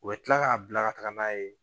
U bɛ kila k'a bila ka taga n'a ye